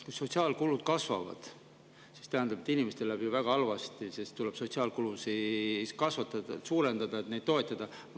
Kui sotsiaalkulud kasvavad, siis see tähendab, et inimestel läheb ju väga halvasti, sest tuleb sotsiaalkulusid kasvatada, et neid toetada.